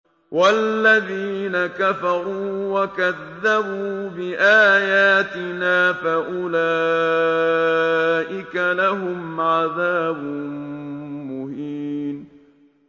وَالَّذِينَ كَفَرُوا وَكَذَّبُوا بِآيَاتِنَا فَأُولَٰئِكَ لَهُمْ عَذَابٌ مُّهِينٌ